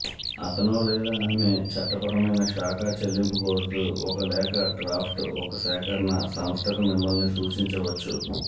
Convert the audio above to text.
అతను లేదా ఆమె చట్టపరమైన శాఖ చెల్లింపు కోరుతూ ఒక లేఖ డ్రాఫ్ట్ ఒక సేకరణ సంస్థకు మిమ్మల్ని సూచించవచ్చు